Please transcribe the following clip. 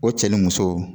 O cɛ ni muso